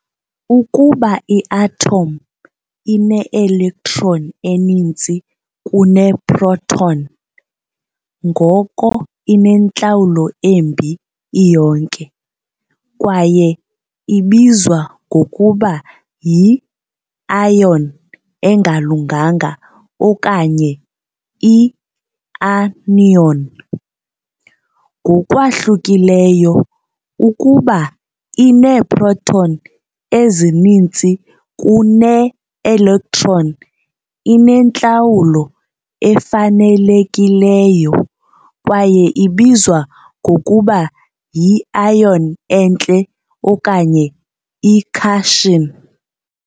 Ukuba i-athomu ineelektroni ezininzi kuneeproton, ngoko inentlawulo embi iyonke, kwaye ibizwa ngokuba yi- ion engalunganga okanye i-anion. Ngokwahlukileyo, ukuba ineeproton ezininzi kunee-electron, inentlawulo efanelekileyo, kwaye ibizwa ngokuba yi-ion enhle okanye i-cation.